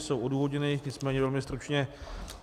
Jsou odůvodněny, nicméně velmi stručně.